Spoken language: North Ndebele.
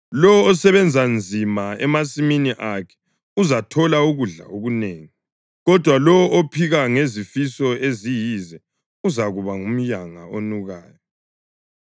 Lowo osebenza nzima emasimini akhe uzathola ukudla okunengi, kodwa lowo ophika ngezifiso eziyize uzakuba ngumyanga onukayo.